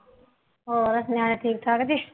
ਹਰੋ ਨਿਆਣੇ ਠੀਕ ਠਾਕ ਜੇ